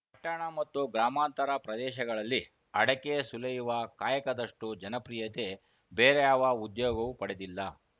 ಪಟ್ಟಣ ಮತ್ತು ಗ್ರಾಮಾಂತರ ಪ್ರದೇಶಗಳಲ್ಲಿ ಅಡಕೆ ಸುಲಿಯುವ ಕಾಯಕದಷ್ಟುಜನಪ್ರಿಯತೆ ಬೇರಾವ ಉದ್ಯೋಗವು ಪಡೆದಿಲ್ಲ